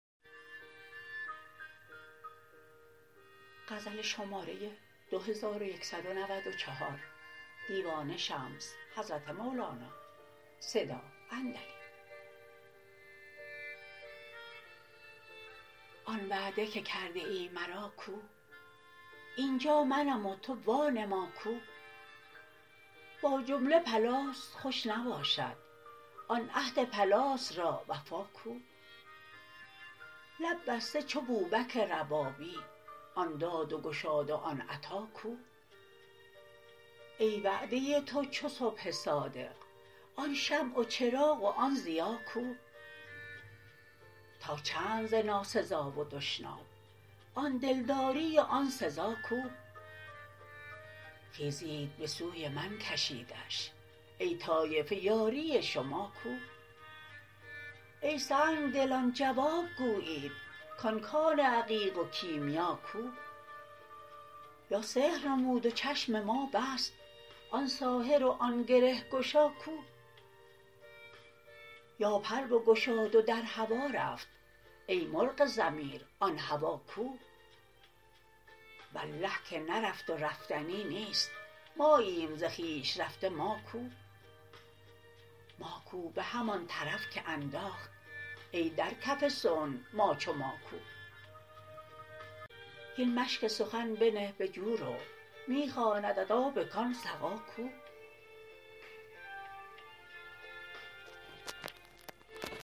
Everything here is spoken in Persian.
آن وعده که کرده ای مرا کو این جا منم و تو وانما کو با جمله پلاس خوش نباشد آن عهد پلاس را وفا کو لب بسته چو بوبک ربابی آن داد و گشاد و آن عطا کو ای وعده تو چو صبح صادق آن شمع و چراغ و آن ضیا کو تا چند ز ناسزا و دشنام آن دلداری و آن سزا کو خیزید به سوی من کشیدش ای طایفه یاری شما کو ای سنگ دلان جواب گویید کان کان عقیق و کیمیا کو یا سحر نمود و چشم ما بست آن ساحر و آن گره گشا کو یا پر بگشاد و در هوا رفت ای مرغ ضمیر آن هوا کو والله که نرفت و رفتنی نیست ماییم ز خویش رفته ما کو ماکو به همان طرف که انداخت ای در کف صنع ما چو ماکو هین مشک سخن بنه به جو رو می خواندت آب کان سقا کو